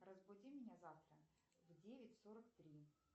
разбуди меня завтра в девять сорок три